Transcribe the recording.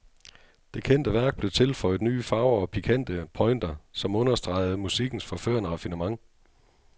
Det kendte værk blev tilføjet nye farver og pikante pointer, som understregede musikkens forførende raffinement.